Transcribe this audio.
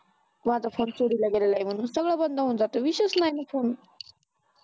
माझा फोन चोरीला गेलेला आहे म्हणून सगळेच बंद होऊन जातं विषयच नाही कोण